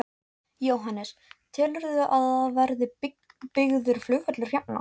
Jóhannes: Telurðu að það verði byggður flugvöllur hérna?